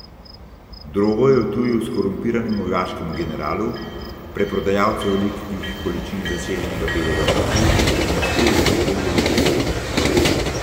Drogo je odtujil skorumpiranemu vojaškemu generalu, preprodajalcu velikih količin zaseženega belega prahu, in jo skril v Helijevo hišo.